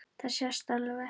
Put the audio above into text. Það sést alveg.